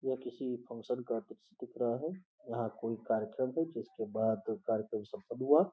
वह किसी फंक्शन दिख रहा है यहां कोई कार्यक्रम है जिसके बाद कार्यक्रम सफल हुआ।